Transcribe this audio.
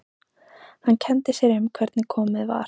Hann kenndi sér um hvernig komið var.